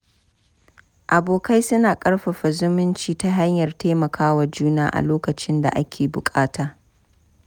Abokai suna ƙarfafa zumunci ta hanyar taimaka wa juna a lokacin da ake buƙata.